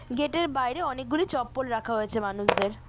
Gate -এর বাইরে অনেকগুলি চপ্পল রাখা হয়েছে মানুষদের।